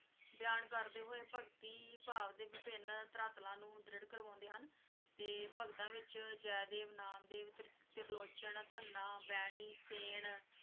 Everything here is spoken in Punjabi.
ਬਿਆਨ ਕਰਦੇ ਹੋਏ ਭਗਤੀ ਭਾਵ ਦੇ ਵਿਭਿਨ ਧਰਾਤਲਾਂ ਨੂੰ ਦ੍ਰਿੜ੍ਹ ਕਰਵਾਉਂਦੇ ਹਨ ਤੇ ਭਗਤਾਂ ਵਿਚ ਜੈਦੇਵ, ਨਾਮਦੇਵ, ਤ੍ਰਿ~ ਤ੍ਰਿਲੋਚਨ ਧੰਨਾ, ਬੈਣੀ ਸੇਨ